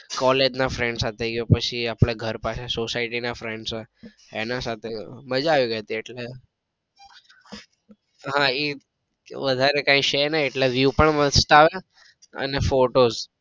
collage ના friends સાથે ગયો પછી ઘર પાસે સોસાયટી ના friends એના સાથે ગયો મજા આવી ગઈ ટી એટલે હા એ વધારે કઈ છે નઈ એટલે view પણ મસ્ત આવે એન્ડ photos